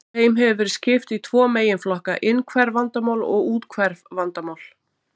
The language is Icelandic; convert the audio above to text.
Þeim hefur verið skipt í tvo meginflokka, innhverf vandamál og úthverf vandamál.